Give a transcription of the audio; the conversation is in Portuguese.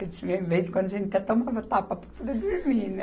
Porque tinha vez quando a gente até tomava tapa para poder dormir, né?